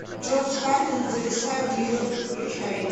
джордж карлин зависая в нью йорке включай